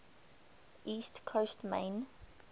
east coast maine